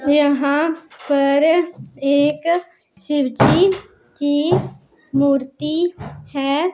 यहां पर एक शिवजी की मूर्ति है।